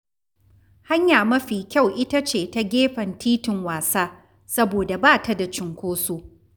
Hanya mafi kyau ita ce ta gefen filin wasa, saboda ba ta da cunkoso.